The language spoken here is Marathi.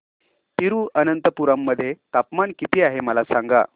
तिरूअनंतपुरम मध्ये तापमान किती आहे मला सांगा